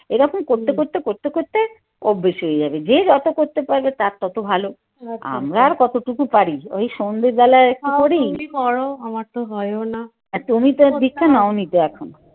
এই রকম করতে করতে করতে করতে অভ্যেস হয়ে যাবে যে যত করতে পারবে তার তত ভালো আমরা আর কতটুকু পারি ওই সন্ধ্যে বেলায় একটু করি তুমি তো দীক্ষা নেও নি তো এখনও।